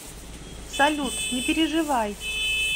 салют не переживай